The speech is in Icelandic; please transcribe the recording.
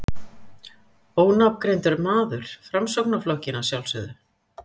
Ónafngreindur maður: Framsóknarflokkinn, að sjálfsögðu?